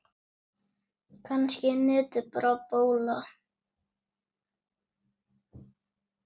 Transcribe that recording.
Kannski er netið bara bóla.